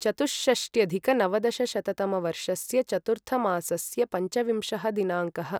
चतुष्षष्ट्यधिकनवदशशततमवर्षस्य चतुर्थमासस्य पञ्चविंशः दिनाङ्कः